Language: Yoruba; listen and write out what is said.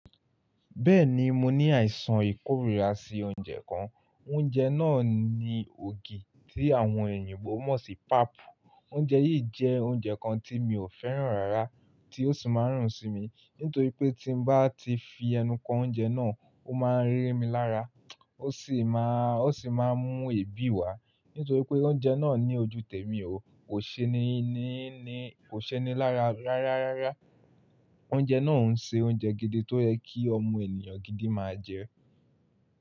Bẹ́ẹ̀ni, mo ní àìsàn ìkórìíra sí oúnjẹ kan. Oúnjẹ náà ni ògì tí àwọn èyìǹbo mọ̀ sí pap. Oúnjẹ yìí jẹ́ oúnjẹ kan tí mi ò fẹ́ràn rárá tí ó sì máa ń rùn sí mi, nítorí pé tí nbá ti fi ẹnu kan oúnjẹ náà, ó máa ń ri mi lára, ó sì máa, ó sì máa ń mú èébì wá. Nítorí pé oúnjẹ náà ní ojúù tẹ̀mi o, kò ṣeni ní ní, kò ṣeni lára rárá. Oúnjẹ náà ń ṣe oúnjẹ gidi tó yẹ kí ọmọ ènìyàn gidi máa jẹ.